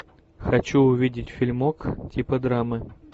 хочу увидеть фильмок типа драмы